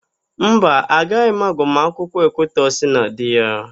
Mba, agaghị m agbamakwụkwọ Ekwutọsị na di ya.